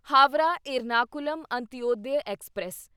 Howrah Ernakulam Antyodaya express